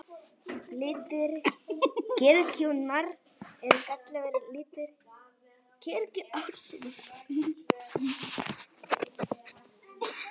Litir kirkjunnar eru kallaðir litir kirkjuársins.